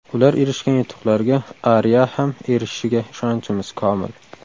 Ular erishgan yutuqlarga Aria ham erishishiga ishonchimiz komil.